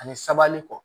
Ani sabali kɔ